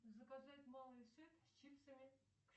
заказать малый сет с чипсами